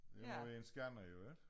Det noget med en skærm jo ikke